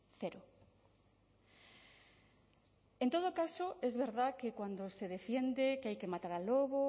cero en todo caso es verdad que cuando se defiende que hay que matar al lobo